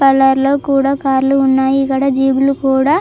Colour లో కూడా కార్లు ఉన్నాయి. ఇక్కడ జీప్ లు కూడా --